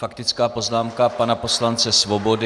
Faktická poznámka pana poslance Svobody.